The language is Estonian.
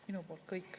Minu poolt kõik.